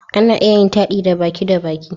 Ana iya yin taɗi da baki da baki